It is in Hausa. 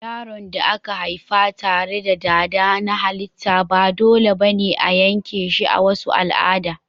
Yaron da aka haifa tare da dada na halitta ba dole ba ne a yanke shi a wasu al'ada.